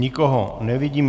Nikoho nevidím.